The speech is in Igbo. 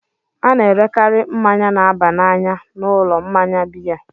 A na-erekarị mmanya na-aba n'anya n'ụlọ mmanya biya.